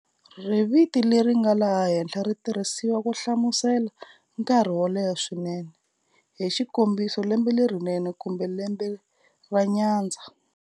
Riviti leri nga ha thlela ri tirhisiwa ku hlamusela nkarhi wo leha swinene, hi xikombiso lembe lerinene, kumbe lembe ra nyandza.